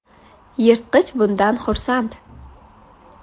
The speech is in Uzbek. Yirtqich bundan xursand .